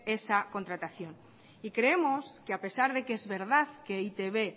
esa contratación y creemos que a pesar de que es verdad que e i te be